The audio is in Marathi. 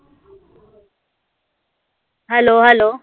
hello? hello?